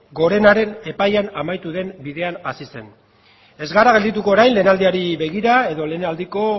gorenaren epaian amaitu den bidea hasi zen ez gara geldituko orain lehenaldiari begira edo lehenaldiko